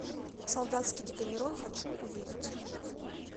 солдатский декамерон хочу увидеть